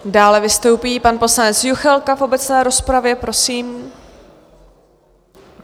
Dále vystoupí pan poslanec Juchelka v obecné rozpravě, prosím.